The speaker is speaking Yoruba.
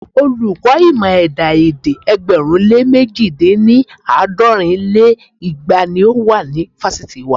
Olùkọ́ ìmọ̀ ẹ̀dá-èdè ẹgbẹ̀rún lé mẹ̀ji dín ní- àádọ́rin lé igba ni ó wà ní fásitì wa.